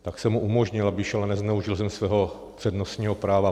Tak jsem mu umožnil, aby šel, a nezneužil jsem svého přednostního práva.